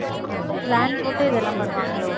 plan போட்டு இதெல்லாம் பண்ணுவாங்களோ?